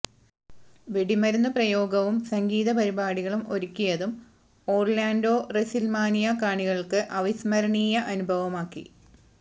വെടിമരുന്നുപ്രയോഗവും സംഗീത പരിപാടികളും ഒരുക്കിയതും ഓര്ലാന്ഡോ റസില്മാനിയ കാണികള്ക്ക് അവിസ്മരണീയ അനുഭവമാക്കി